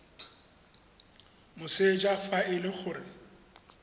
moseja fa e le gore